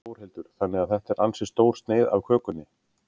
Þórhildur: Þannig að þetta er ansi stór sneið af kökunni?